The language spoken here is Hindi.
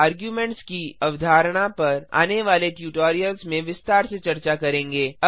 आर्गुमेंट्स की अवधारणा पर आने वाले ट्यूटोरियल्स में विस्तार से चर्चा करेंगे